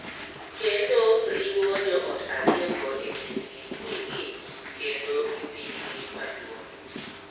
kendo riwo joot ariyogo e kindgi giwegi kendo gi pinygi maduong’.